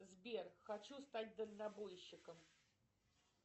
сбер хочу стать дальнобойщиком